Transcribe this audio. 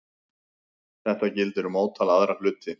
Þetta gildir um ótal aðra hluti.